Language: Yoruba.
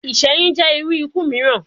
Iṣẹyun jẹ iru iku miiran